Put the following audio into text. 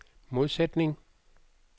modsætning